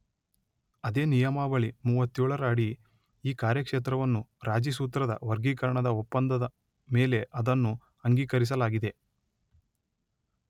ಅದೇ ನಿಯಮಾವಳಿ ಮೂವತ್ತೇಳರಡಿ ಈ ಕಾರ್ಯಕ್ಷೇತ್ರವನ್ನು ರಾಜಿ ಸೂತ್ರದ ವರ್ಗೀಕರಣದ ಒಪ್ಪಂದ ಮೇಲೆ ಅದನ್ನು ಅಂಗೀಕರಿಸಲಾಗಿದೆ